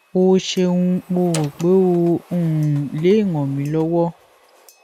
o ṣeun mo rò pé o um le ràn mí lọ́wọ́